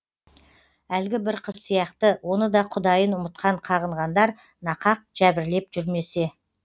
әлгі бір қыз сияқты оны да құдайын ұмытқан қағынғандар нақақ жәбірлеп жүрмесе